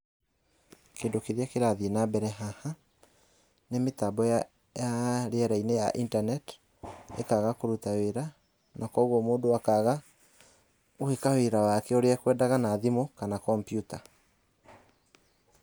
Kĩndũ kĩrĩa kĩrathiĩ nambere haha, nĩ mĩtambo ya ya rĩera-inĩ ya internet, ĩkaga kũruta wĩra na kuoguo mũndũ akaga gwĩka wĩra wake ũrĩa ekwedaga na thimũ kana kompiuta.